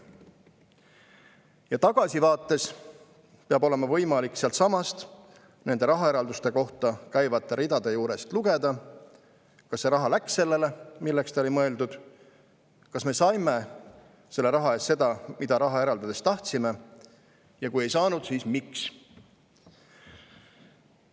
Ja tagasivaates peab olema võimalik sealtsamast, nende rahaeralduste kohta käivate ridade juurest lugeda, kas see raha läks sellele, milleks ta oli mõeldud, kas me saime selle raha eest seda, mida raha eraldades tahtsime, ja kui ei saanud, siis miks.